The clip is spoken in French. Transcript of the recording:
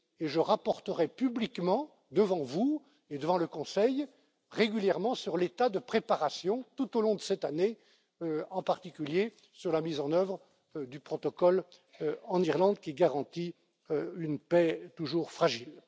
en œuvre. Je ferai rapport publiquement devant vous et devant le Conseil, régulièrement, sur l'état de préparation tout au long de cette année, en particulier sur la mise en œuvre du protocole en Irlande, qui garantit une paix toujours